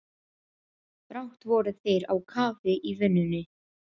Brátt voru þeir á kafi í vinnunni.